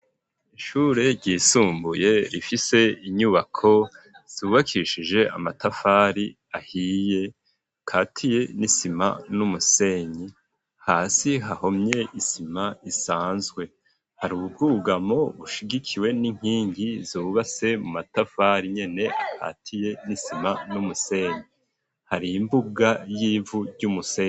Ishure ryisumbuye rifise inyubako zubakishije amatafari ahiye akatiye n'isima n'umusenyi hasi hahomye isima isanzwe hari ubwugamo bushigikiwe n'inkingi zubatse mu matafari nyene akatiye n'isima n'umusenyi hari imbuga y'ivu ry'umusenyi.